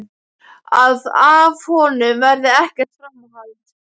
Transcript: Að af honum verði ekkert framhald.